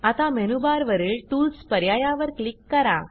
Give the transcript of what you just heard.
आता मेनूबारवरील टूल्स पर्यायावर क्लिक करा